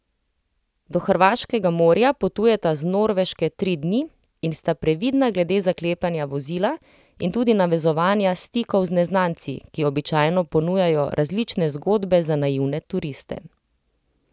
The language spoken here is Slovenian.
Do hrvaškega morja potujeta z Norveške tri dni in sta previdna glede zaklepanja vozila in tudi navezovanja stikov z neznanci, ki običajno ponujajo različne zgodbe za naivne turiste.